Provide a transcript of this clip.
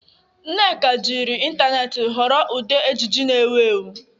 Nneka jiri ịntanetị họrọ ụdị ejiji na-ewu ewu.